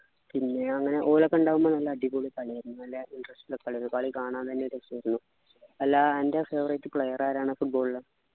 പിന്നെ അങ്ങനെ ഓലൊക്കെ ഉണ്ടാകുമ്പോ നല്ല അടിപൊളി കളിയായിരുന്നു നല്ല interest ഉള്ള കളിയായിരുന്നു കളി കാണാൻ തന്നെ ഒരു ഇതായിരുന്നു ല്ല അൻ്റെ favourite player ആരാണ് football ലു